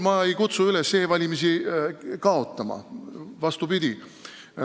Ma ei kutsu üles e-valimist kaotama, vastupidi.